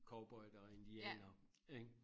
Cowboydere og indianere ik?